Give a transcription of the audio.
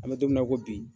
An bɛ don min na ko bi